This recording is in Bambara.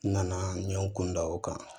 N nana n ɲe n kun da o kan